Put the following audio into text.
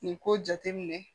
Nin ko jate minɛ